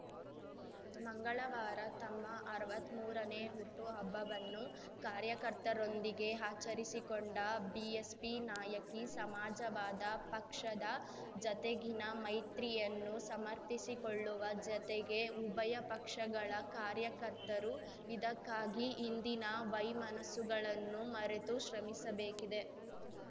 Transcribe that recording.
ಮಂಗಳವಾರ ತಮ್ಮ ಅರ್ವತ್ಮೂರನೇ ಹುಟ್ಟುಹಬ್ಬವನ್ನು ಕಾರ್ಯಕರ್ತರೊಂದಿಗೆ ಆಚರಿಸಿಕೊಂಡ ಬಿಎಸ್‌ಪಿ ನಾಯಕಿ ಸಮಾಜವಾದ ಪಕ್ಷದ ಜತೆಗಿನ ಮೈತ್ರಿಯನ್ನು ಸಮರ್ಥಿಕೊಳ್ಳುವ ಜತೆಗೆ ಉಭಯ ಪಕ್ಷಗಳ ಕಾರ್ಯಕರ್ತರು ಇದಕ್ಕಾಗಿ ಹಿಂದಿನ ವೈಮನಸ್ಸುಗಳನ್ನು ಮರೆತು ಶ್ರಮಿಸಬೇಕಿದೆ